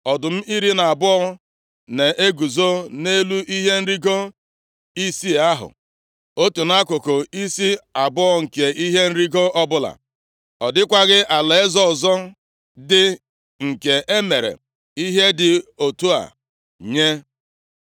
Ọdụm iri na abụọ na-eguzo nʼelu ihe nrigo isii ahụ, otu nʼakụkụ isi abụọ nke ihe nrigo ọbụla. Ọ dịkwaghị alaeze ọzọ dị nke e mere ihe dị otu a nye.